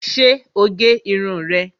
Ṣé o gé irun rẹ̀